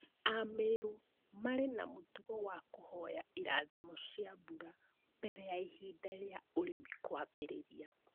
Amerũ marĩ na mũtugo wa kũhoya irathimo cia mbura mbere ya ihinda rĩa ũrĩmi kwambĩrĩria.